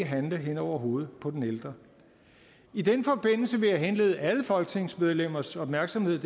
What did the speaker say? handle hen over hovedet på den ældre i den forbindelse vil jeg henlede alle folketingsmedlemmers opmærksomhed